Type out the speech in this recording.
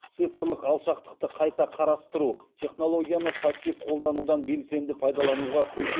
цифрлық алшақтықты қайта қарастыру технологияны пассив қолданудан белсенді пайдалануға көшу